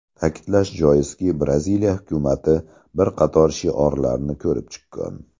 Ta’kidlash joizki, Braziliya hukumati bir qator shiorlarni ko‘rib chiqqan.